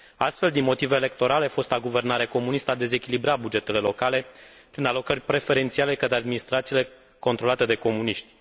Astfel, din motive electorale, fosta guvernare comunistă a dezechilibrat bugetele locale prin alocări preferențiale către administrațiile controlate de comuniști.